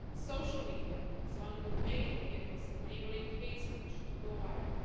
Social media is one of the main vehicles enabling hate speech to go viral.